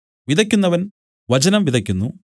വിതയ്ക്കുന്നവൻ വചനം വിതയ്ക്കുന്നു